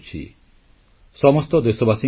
• ମୁସଲିମ ମହିଳାଙ୍କୁ ନ୍ୟାୟ ଦେବା ଲାଗି ସରକାର ପ୍ରତିବଦ୍ଧ